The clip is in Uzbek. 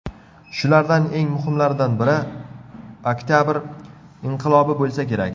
Shulardan eng muhimlaridan biri Oktabr inqilobi bo‘lsa kerak.